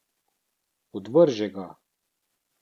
Odvrže ga.